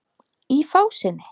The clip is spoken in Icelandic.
Í fásinni